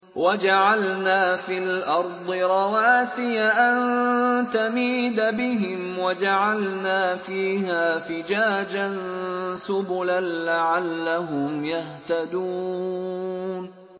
وَجَعَلْنَا فِي الْأَرْضِ رَوَاسِيَ أَن تَمِيدَ بِهِمْ وَجَعَلْنَا فِيهَا فِجَاجًا سُبُلًا لَّعَلَّهُمْ يَهْتَدُونَ